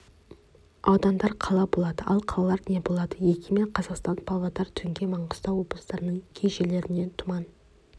аудандар қала болады ал қалалар не болады егемен қазақстан павлодар түнде маңғыстау облыстарының кей жерлерінде тұман